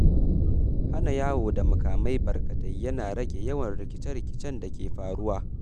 Hana yawo da makamai barkatai yana rage yawan rikice-rikicen da ke faruwa.